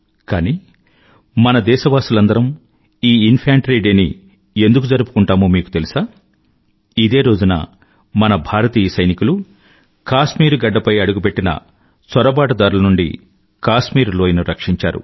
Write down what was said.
కానీ మన దేశవాసులందరూ ఈ ఇన్ఫాంట్రీ డే ని ఎందుకు జరుపుకుంటామో మీకు తెలుసా ఇదే రోజున మన భారతీయ సైనికులు కాశ్మీరు గడ్డపై అడుగుపెట్టిన చొరబాటుదారుల నుండి కాశ్మీరులోయను రక్షించారు